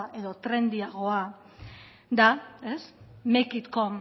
edo trendyagoa da make it come